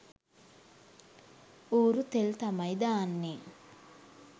ඌරු තෙල් තමයි දාන්නේ